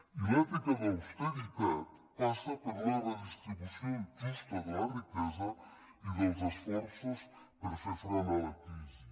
i l’ètica de l’austeritat passa per una redistribució justa de la riquesa i dels esforços per fer front a la crisi